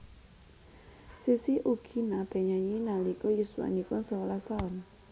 Sissy ugi naté nyanyi nalika yuswanipun sewelas taun